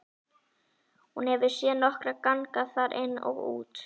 Hún hefur séð nokkra ganga þar inn og út.